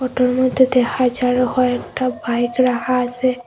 ওটার মধ্যেতে হাজারও হয়েকটা বাইক রাখা আসে।